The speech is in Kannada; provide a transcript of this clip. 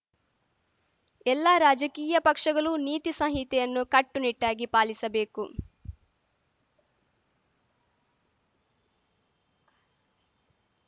ಎಲ್ಲ ರಾಜಕೀಯ ಪಕ್ಷಗಲು ನೀತಿ ಸಂಹಿತೆಯನ್ನು ಕಟ್ಟುನಿಟ್ಟಾಗಿ ಪಾಲಿಸಬೇಕು